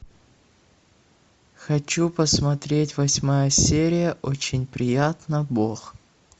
хочу посмотреть восьмая серия очень приятно бог